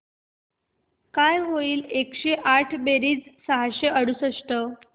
काय होईल एकशे आठ बेरीज सहाशे अडुसष्ट